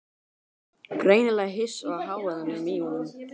Greinilega hissa á hávaðanum í honum.